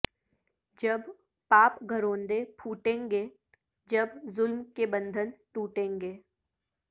جب پاپ گھروندے پھوٹیں گے جب ظلم کے بندھن ٹوٹیں گے